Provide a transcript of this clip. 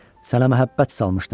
Sənə məhəbbət salmışdım.